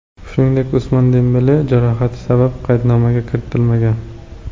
Shuningdek, Usmon Dembele jarohati sabab qaydnomaga kiritilmagan.